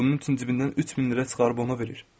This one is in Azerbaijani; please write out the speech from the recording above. Bunun üçün cibindən 3000 lirə çıxarıb ona verir.